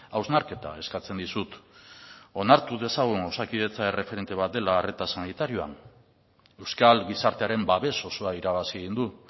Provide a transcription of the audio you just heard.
hausnarketa eskatzen dizut onartu dezagun osakidetza erreferente bat dela arreta sanitarioan euskal gizartearen babes osoa irabazi egin du